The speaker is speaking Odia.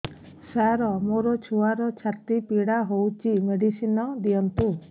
ସାର ମୋର ଛୁଆର ଛାତି ପୀଡା ହଉଚି ମେଡିସିନ ଦିଅନ୍ତୁ